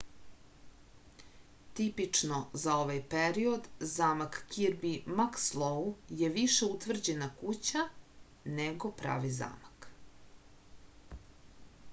tipično za ovaj period zamak kirbi makslou je više utvrđena kuća nego pravi zamak